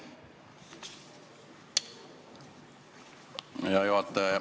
Hea juhataja!